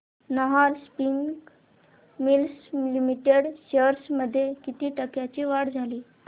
Nahar spinning mills limited shares मध्ये किती टक्क्यांची वाढ झाली